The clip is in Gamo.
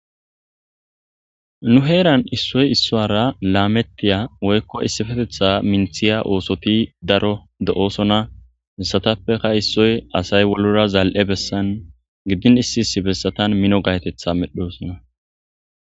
Nu heran isoy isuwara Lametiya Woyko issipetethan Minthiya othoy Daro De'etes hesatapeka issoy Asay wulora zali'iza Besan issi issi Besatan Mino gayetetha Medhosona